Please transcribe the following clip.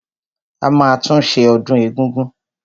A máa tún ṣe ọdún egúngún.